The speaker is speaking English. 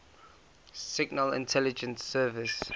signal intelligence service